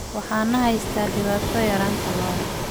Waxaa na haysata dhibaato yaraanta lo'da.